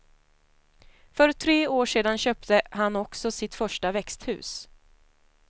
För tre år sedan köpte han också sitt första växthus.